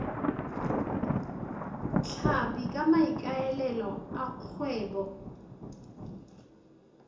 tlhapi ka maikaelelo a kgwebo